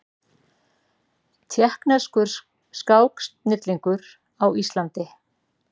Tékkneskur skáksnillingur á Íslandi